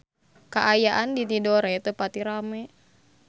Kaayaan di Tidore teu pati rame